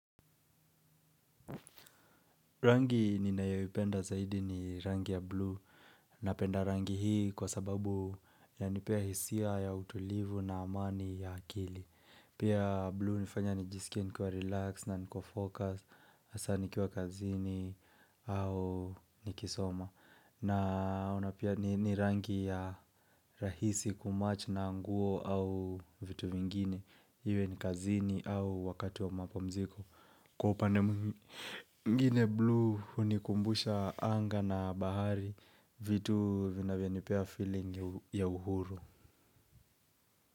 Rangi ninayoipenda zaidi ni rangi ya blue. Napenda rangi hii kwa sababu inanipea hisia ya utulivu na amani ya akili. Pia blue hunifanya nijisikie nikiwa relax na niko focus. Hasa nikiwa kazini au nikisoma. Na, na pia ni rangi ya rahisi kumatch na nguo au vitu vingine. Iwe ni kazini au wakati wa mapumziko. Kwa upande mwingine blue hunikumbusha anga na bahari, vitu vinavyonipea feeling ya uhuru.